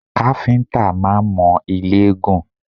Káfíńtà máa ń mọ ilé gùn